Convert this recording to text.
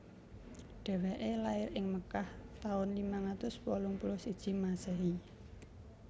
Dhèwèké lair ing Makkah taun limang atus wolung puluh siji Masèhi